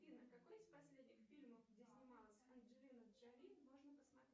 афина какой из последних фильмов где снималась анджелина джоли можно посмотреть